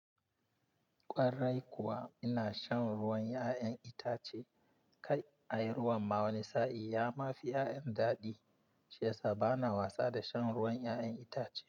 Kwarai kuwa ina shan ruwan 'ya'yan itace kai, ai ruwan ma wani sa'in ya ma fi 'ya'yan daɗi. Shiyasa bana wasa da shan ruwan 'ya'yan itace.